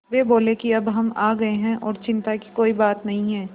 वे बोले कि अब हम आ गए हैं और चिन्ता की कोई बात नहीं है